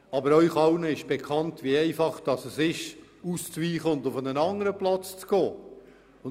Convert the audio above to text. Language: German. Aber Ihnen allen ist auch bekannt, wie einfach es ist, auf einen anderen Platz auszuweichen.